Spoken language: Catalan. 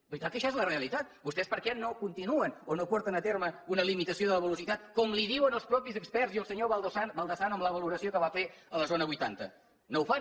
veritat que això és la realitat vostès per què no ho continuen o no porten a terme una limitació de la velocitat com els diuen els mateixos experts i el senyor baldasano amb la valoració que va fer a la zona vuitanta no ho fan